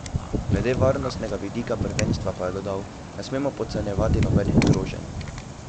Glede varnostnega vidika prvenstva pa je dodal: 'Ne smemo podcenjevati nobenih groženj.